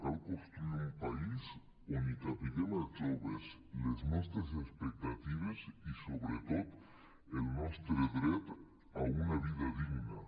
cal construir un país on hi capiguem els joves les nostres expectatives i sobretot el nostre dret a una vida digna